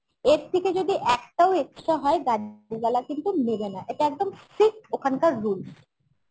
এর থেকে যদি একটাও extra হয় কিন্তু নেবে না এটা একদম strict, ওখানকার rules